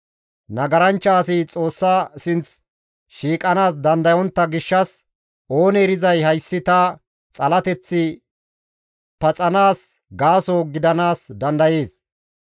Nagaranchcha asi Xoossa sinththi shiiqanaas dandayontta gishshas oonee erizay hayssi ta xalateththi paxanaas gaaso gidanaas dandayees.